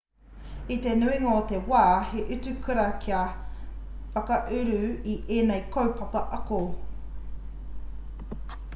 i te nuinga o te wā he utu kura kia whakauru ki ēnei kaupapa ako